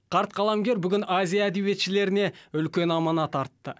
қарт қаламгер бүгін азия әдебиетшілеріне үлкен аманат артты